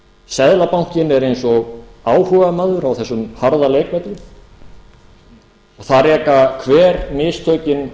seðlabankinn er eins og áhugamaður á þessum harða leikvelli og það reka hver mistökin